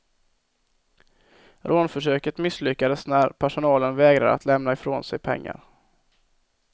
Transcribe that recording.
Rånförsöket misslyckades när personalen vägrade att lämna ifrån sig pengar.